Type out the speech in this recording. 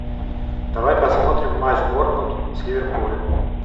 давай посмотрим матч борнмут с ливерпулем